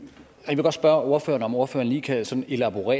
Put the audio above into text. vil godt spørge ordføreren om ordføreren lige kan sådan elaborere